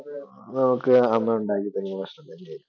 അതൊക്കെ അമ്മയുണ്ടാക്കി തരുന്നതു ഇഷ്ടം തന്നെ ആയിരിക്കും.